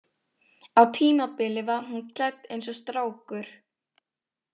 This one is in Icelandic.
Á tímabili var hún klædd eins og strákur.